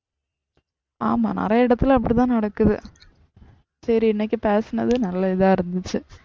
ஆமாம் நிறைய இடத்துல அப்டிதான் நடக்குது. சரி இன்னைக்கு பேசுனது நல்ல இதான் இருந்துச்சு